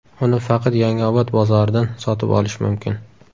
Uni faqat Yangiobod bozoridan sotib olish mumkin.